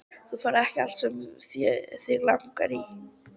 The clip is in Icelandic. Þú færð ekki allt sem þig langar í!